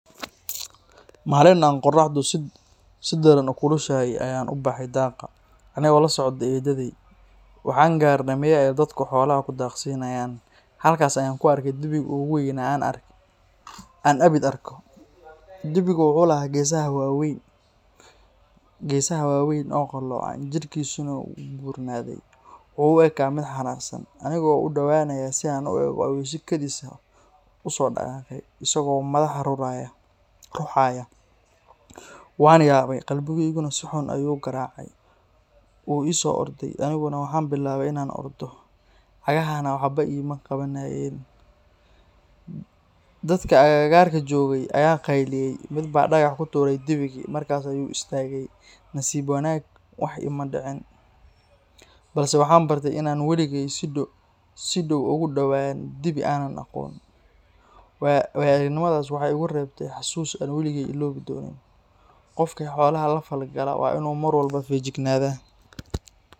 Maalin aan qorraxdu si daran u kulushahay ayaan u baxay daaqa, anigoo la socda eedaday. Waxaan gaarnay meel ay dadku xoolaha ku daaqsiiyaan. Halkaas ayaan ku arkay dibigii ugu weynaa ee aan abid arko. Dibigu wuxuu lahaa geesaha waaweyn oo qalloocan, jidhkiisuna wuu buurnaaday. Wuxuu u ekaa mid xanaaqsan. Aniga oo u dhowaanaya si aan u eego ayuu si kedis ah u soo dhaqaaqay, isagoo madaxa ruxaya. Waan yaabay, qalbigaygana si xun ayuu u garaacay. Wuu i soo orday, aniguna waxaan bilaabay in aan ordo, cagahana waxba ima qabanayeen. Dadkii agagaarka joogay ayaa qayliyay, mid baa dhagax ku tuuray dibigii, markaas ayuu istaagay. Nasiib wanaag, wax iima dhicin, balse waxaan bartay in aanan waligay si dhow ugu dhowaan dibi aanan aqoon. Waayo-aragnimadaasi waxay igu reebtay xasuus aan weligay iloobi doonin. Qofkii xoolaha la falgala waa inuu mar walba feejignaadaa.